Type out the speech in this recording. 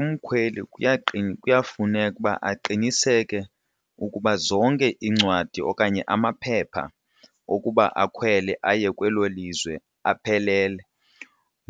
Umkhweli kuyafuneka uba aqiniseke ukuba zonke iincwadi okanye amaphepha okuba akhwele aye kwelo lizwe aphelele